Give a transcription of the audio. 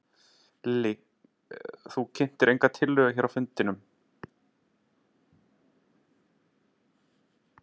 Lillý: Þú kynntir enga tillögu hér á fundinum?